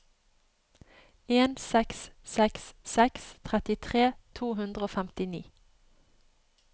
en seks seks seks trettitre to hundre og femtini